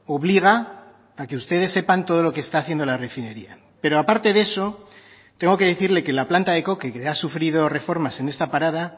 obliga a que ustedes sepan todo lo que está haciendo la refinería pero aparte de eso tengo que decirle que la planta de coque que ha sufrido reformas en esta parada